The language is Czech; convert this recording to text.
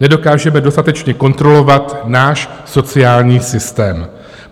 Nedokážeme dostatečně kontrolovat náš sociální systém.